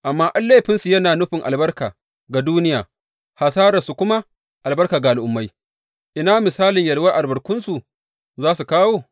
Amma in laifinsu yana nufin albarka ga duniya, hasararsu kuma albarka ga Al’ummai, ina misalin yalwar da albarkunsu za su kawo!